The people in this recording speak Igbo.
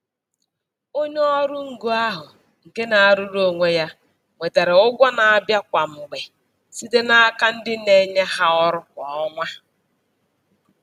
Onye ọrụ ngo ahụ nke na-arụrụ onwe ya nwetara ụgwọ na-abịa kwa mgbe site n'aka ndị na-enye ha ọrụ kwa ọnwa.